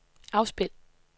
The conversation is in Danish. afspil